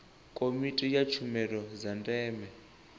komiti ya tshumelo dza ndeme